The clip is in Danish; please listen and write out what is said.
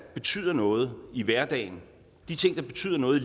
betyder noget i hverdagen de ting der betyder noget